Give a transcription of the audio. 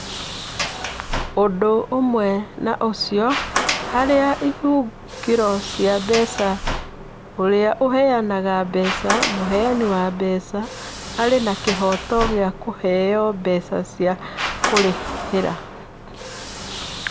Ũndũ ũmwe na ũcio, harĩ ihũngĩro cia mbeca, ũrĩa ũheanaga mbeca (mũheani wa mbeca) arĩ na kĩhooto gĩa kũheo mbeca cia kũrĩha.